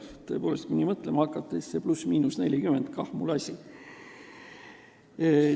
Tõepoolest, kui nii mõtlema hakata, siis see pluss-miinus 40 – kah mul asi.